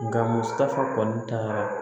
Nka musaka kɔni taara